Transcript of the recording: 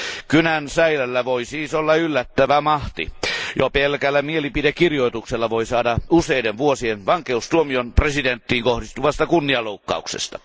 Kynän säilällä voi siis olla yllättävä mahti. Jo pelkällä mielipidekirjoituksella voi saada useiden vuosien vankeustuomion presidenttiin kohdistuvasta kunnianloukkauksesta.